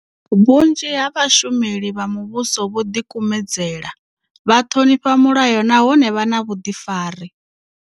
Vhunzhi ha vhashumeli vha muvhuso vho ḓikumedzela, vha ṱhonifha mulayo nahone vha na vhuḓifari.